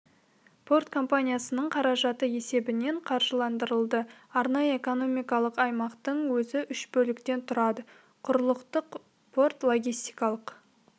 порт компаниясының қаражаты есебінен қаржыландырылды арнайы экономикалық аймақтың өзі үш бөліктен тұрады құрлықтық порт логистикалық